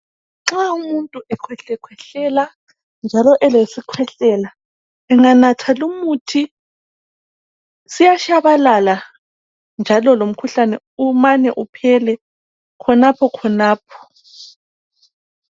Nxa umuntu ekhwehlekhwehlela njalo elesikhwehlela enganatha lumuthi siyatshabalala njalo lomkhuhlane umane uphele khonaphokhonapho.